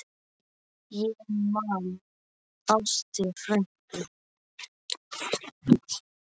Ég man Ástu frænku.